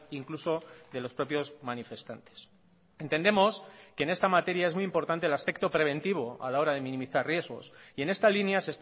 incluso de los propios manifestantes entendemos que en esta materia es muy importante el aspecto preventivo a la hora de minimizar riesgos y en esta línea